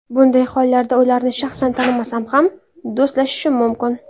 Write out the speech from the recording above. Bunday hollarda ularni shaxsan tanimasam ham, do‘stlashishim mumkin.